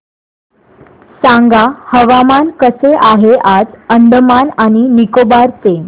सांगा हवामान कसे आहे आज अंदमान आणि निकोबार चे